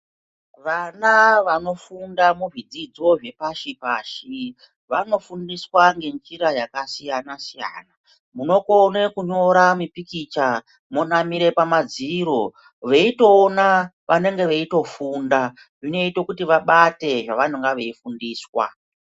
Vana vanofunda muzvidzidzo zvepashi pashi, vanofundiswa ngenjira yakasiyana siyana. Munokone kunyora mipikicha monamire pamadziro, veyitowona vanenge veyitofunda. Zvinoite kuti vabate zvavanenge veyifundiswa.